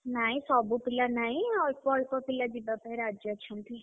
ନାଇଁ ସବୁ ନାଇଁ ଅଳ୍ପ ଅଳ୍ପ ପିଲା ଯିବା ପାଇଁ ରାଜି ଅଛନ୍ତି।